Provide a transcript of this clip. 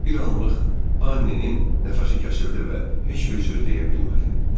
Bir anlıq Annenin nəfəsi kəsildi və heç bir söz deyə bilmədi.